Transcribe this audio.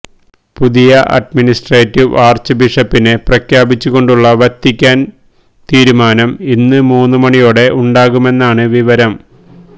പുതിയ administrative arch ബിഷപ്പിനെ പ്രഖ്യാപിച്ചുകൊണ്ടുള്ള വത്തിക്കാന് തീരുമാനം ഇന്ന് മൂന്നു മണിയോടെ ഉണ്ടാകുമെന്നാണ് വിവരം